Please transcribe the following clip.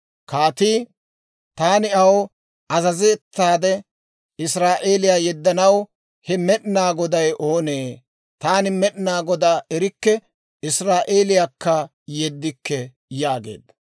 Kaatii, «Taani aw azazettaade Israa'eeliyaa yeddanaw he Med'inaa Goday oonee? Taani Med'inaa Godaa erikke; Israa'eeliyaakka yeddikke» yaageedda.